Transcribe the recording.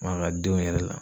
Ma ka denw yɛrɛ la.